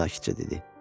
Teddi sakitcə dedi.